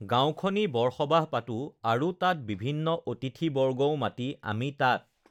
গাঁওখনি বৰসবাহ পাতোঁ আৰু তাত বিভিন্ন অতিথি বৰ্গও মাতি আমি তাত